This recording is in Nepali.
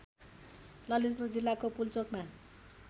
ललितपुर जिल्लाको पुल्चोकमा